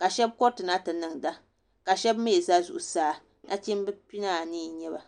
ka shab koritina ti niŋda ka shab mii ʒɛ zuɣusaa nachimbi pia ni anii n nyɛba